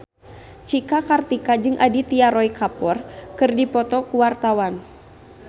Cika Kartika jeung Aditya Roy Kapoor keur dipoto ku wartawan